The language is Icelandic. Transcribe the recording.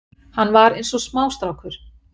Hann var eins og smástrákur